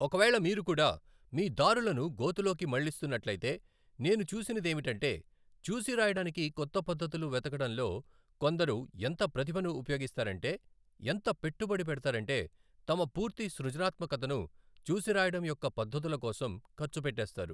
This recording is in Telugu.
ఒకవేళ మీరు కూడా మీ దారులను గోతిలోకి మళ్ళిస్తున్నట్లయితే, నేను చూసినదేమిటంటే, చూసిరాయడానికి కొత్త పధ్ధతులు వెతకడంలో కొందరు ఎంత ప్రతిభను ఉపయోగిస్తారంటే, ఎంత పెట్టుబడి పెడతారంటే, తమ పూర్తి సృజనాత్మకతను చూసిరాయడం యొక్క పధ్ధతుల కోసం ఖర్చు పెట్టేస్తారు.